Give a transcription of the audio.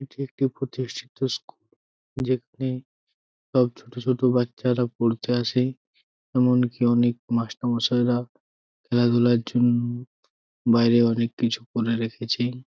এটি একটি প্রতিষ্ঠিত স্কুল যেখানে সব ছোট ছোট বাচ্চা রা পড়তে আসে এমনকি অনেক মাস্টার মশাই রা খেলা ধুলার জন্য বাইরে অনেক কিছু করে রেখেছে।